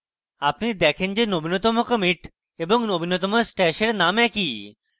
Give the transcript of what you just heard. আপনি দেখেন যে নবীনতম commit এবং নবীনতম stash এর name একই